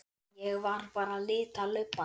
Ég var bara að lita lubbann.